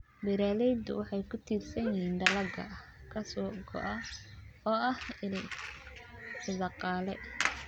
Beeraleydu waxay ku tiirsan yihiin dalagga ka soo go'a oo ah il dhaqaale.